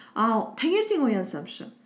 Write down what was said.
ал таңертең оянсам ше